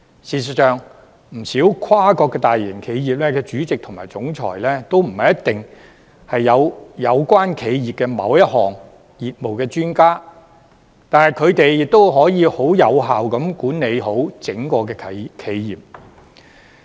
事實上，不少跨國大型企業的主席及總裁，都不一定是有關企業某一項業務的專家，但他們亦可以有效地管理好整個企業。